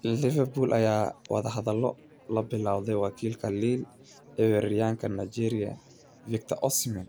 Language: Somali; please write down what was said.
(Mail) Liverpool ayaa wadahadalo la bilowday wakiilada Lille iyo weeraryahanka Nigeria Victor Osimhen,